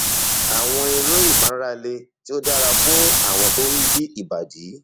àwọn eré ìmárale tí ó dára fún àwọn tó ń yí ìbàdí